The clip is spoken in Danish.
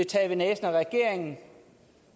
taget ved næsen af regeringen